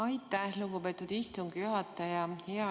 Aitäh, lugupeetud istungi juhataja!